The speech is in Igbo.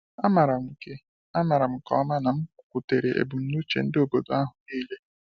A maram nke A maram nke ọma na m kwutere ebumnuche ndị obodo ahụ niile.